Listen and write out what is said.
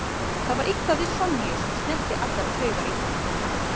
Það var eitthvað við Sonju sem snerti allar taugar í honum.